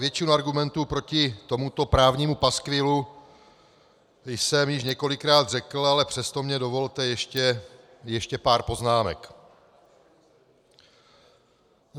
Většinu argumentů proti tomuto právnímu paskvilu jsem již několikrát řekl, ale přesto mně dovolte ještě pár poznámek.